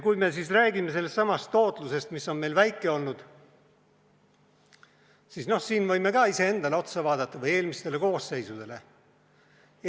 Kui me räägime sellest tootlusest, mis on meil väike olnud, siis me võime ka iseendale või eelmistele koosseisudele otsa vaadata.